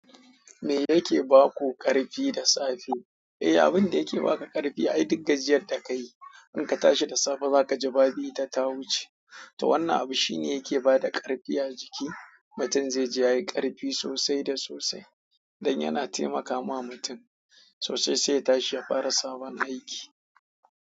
Me yake ba ku ƙarfi da safe? Eh, abin da yake ba ka ƙarfi ai duk gajiyar da ka yi, in ka tashi da safe za ka ji babu ita ta wuce. To wannan abu shine yake ba da ƙarfi a jiki. Mutum zai ji yayi ƙarfi sosai da sosai don yana taimakama mutum sosai sai ya tashi ya fara sabon aiki.